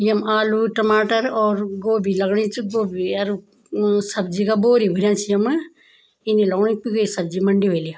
यम आलू टमाटर और गोभी लगणी च गोभी अर अ सब्जी का बोरी भूर्यां छी यमा इन लगणु की कुई सब्जी मंडी वैली या।